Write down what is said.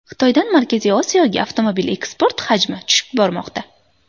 Xitoydan Markaziy Osiyoga avtomobil eksporti hajmi tushib bormoqda.